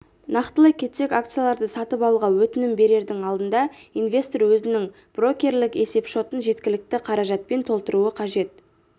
нақтылай кетсек акцияларды сатып алуға өтінім берердің алдында инвестор өзінің брокерлік есепшотын жеткілікті қаражатпен толтыруы қажет